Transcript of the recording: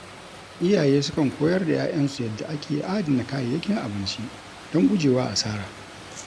Iyaye sukan koyar da ‘ya’yansu yadda ake adana kayayyakin abinci don guje wa asara.